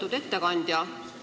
Lugupeetud ettekandja!